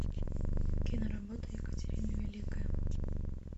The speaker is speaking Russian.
киноработа екатерина великая